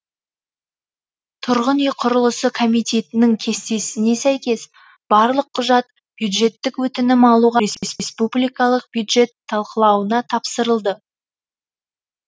тұрғын үй құрылысы комитетінің кестесіне сәйкес барлық құжат бюджеттік өтінім алуға республикалық бюджет талқылауына тапсырылды